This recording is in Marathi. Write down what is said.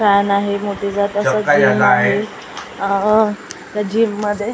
फॅन आहे मोठे जात असं गेम आहे अ त्या जिम मध्ये--